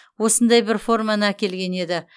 осындай бір форманы әкелген еді